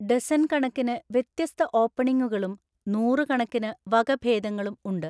Dozen കണക്കിന് വ്യത്യസ്ത ഓപ്പണിങ്ങുകളും നൂറുകണക്കിന് വകഭേദങ്ങളും ഉണ്ട്.